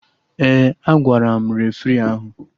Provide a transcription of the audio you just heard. Ee, agwara m refri ahụ